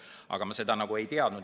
Aga ma seda ei teadnud.